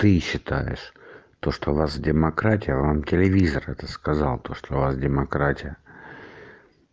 ты считаешь то что у нас демократия вам телевизор это сказал то что у вас демократия